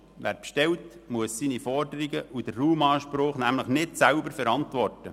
Wer bestellt, muss seine Forderungen und den Raumanspruch nämlich nicht oder nur teilweise selber verantworten.